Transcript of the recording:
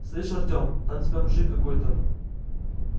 слышь артём там тебя мужик какой-то